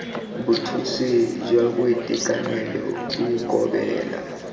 bothusi jwa boitekanelo bo ikobela